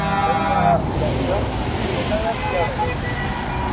food എന്താ ചെന്ന് ഉച്ചക്കാണ് എത്തിയെ അവിടെ